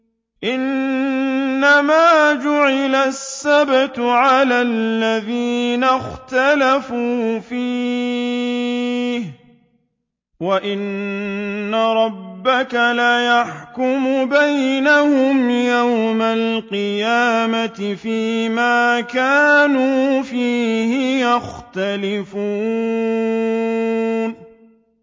إِنَّمَا جُعِلَ السَّبْتُ عَلَى الَّذِينَ اخْتَلَفُوا فِيهِ ۚ وَإِنَّ رَبَّكَ لَيَحْكُمُ بَيْنَهُمْ يَوْمَ الْقِيَامَةِ فِيمَا كَانُوا فِيهِ يَخْتَلِفُونَ